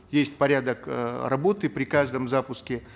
есть порядок э работы при каждом запуске